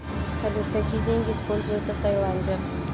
салют какие деньги используются в тайланде